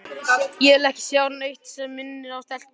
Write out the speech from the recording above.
Ég vil ekki sjá neitt sem minnir á stelpuna.